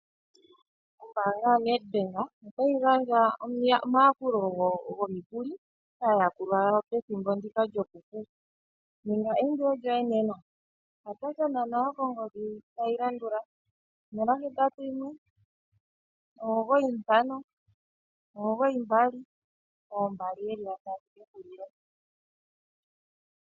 Ombaanga yoNedbank otayi gandja omayakulo gomikuli kaa yakulwa yawo pethimbo ndika lyokufu. Ninga eindilo lyoe nena. Kwatathana nayo kongodhi tayi landula: 0819592222